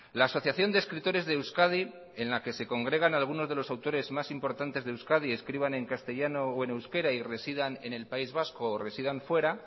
la asociación de escritores de euskadi en la que se congregan algunos de los autores más importantes de euskadi escriban en castellano o en euskera y residan en el país vasco o residan fuera